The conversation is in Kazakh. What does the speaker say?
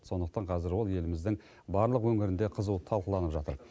сондықтан қазір ол еліміздің барлық өңірінде қызу талқыланып жатыр